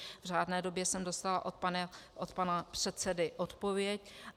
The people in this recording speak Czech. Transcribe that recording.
V řádné době jsem dostala od pana předsedy odpověď.